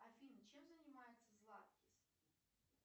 афина чем занимается златкис